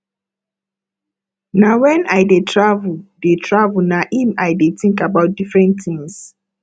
na wen i dey travel dey travel na im i dey think about different things